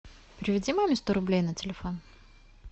переведи маме сто рублей на телефон